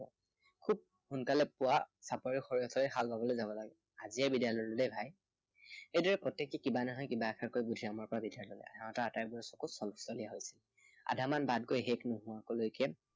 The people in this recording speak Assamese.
খুব সোনকালে পুৱা চাপৰিত সৰিয়হৰ বাবে হাল বাবলৈ যাব লাগে। আজিয়েই বিদায় ললো ভাই, এইদৰেই প্ৰত্য়েকটোৱেই কিবা নহয় কিবা এষাৰ কৈ বুদ্ধিৰামৰ পৰা বিদায় ললে। সিহঁতৰ আটাইবোৰৰে চকু চলচলীয়া হৈ উঠিল। আধা মান বাট গৈ শেষ নোহোৱালৈকে